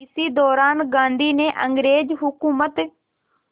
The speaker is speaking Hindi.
इसी दौरान गांधी ने अंग्रेज़ हुकूमत